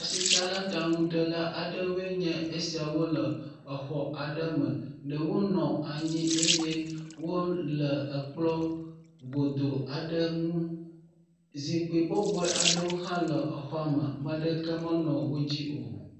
Asitsala ɖaŋuɖela woe nye esiawo le xɔ aɖe me. Ɖewo nɔ anyi le ekplɔ godo aɖe ŋu. zikpui bɔbɔe aɖewo hã le exɔa me. Meɖe ke menɔ wodzi o.